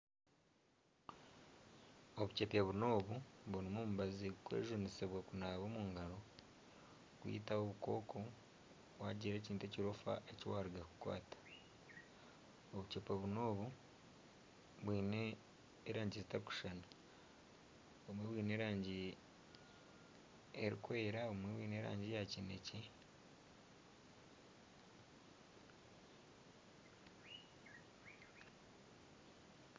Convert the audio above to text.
Obuceepe buna obu burimu omubazi gurikwejunisibwa kunaaba omu ngaro kwita obukooko waagira ekintu ekirofa eki waaruga kukwata obuceepe buna obu bwine erangi etarikushushana obumwe bwine erangi erikwera obumwe bwine erangi ya kineekye